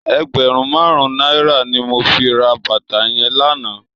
Ègbèrùn màrún nàirá ni mó fi rà bàtá yèn lànã